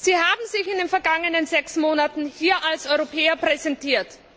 Sie haben sich in den vergangenen sechs Monaten hier als Europäer präsentiert.